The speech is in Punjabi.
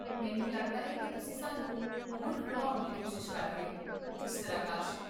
ਮੈਨੂੰ ਲੱਗਦਾ ਹੈ ਕਿ ਤੁਸੀਂ ਸਾਨੂੰ ਮੂਰਖ ਬਣਾਉਣ ਦੀ ਕੋਸ਼ਿਸ਼ ਕਰ ਰਹੇ ਹੋ, ਮਿਸਟਰ ਆਕਾਸ਼